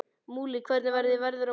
Múli, hvernig verður veðrið á morgun?